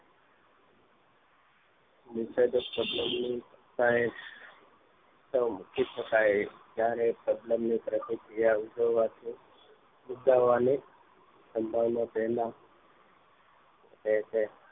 ઉત્સેચક સબ્લમ ની સતા એ ઉતમ મૂકી શકાય એવી જયારે સબ્લમ ની પ્રતિક્રિયા ઉજડવાથી ઉદારવાની સમભાવના તેમાં હોય છે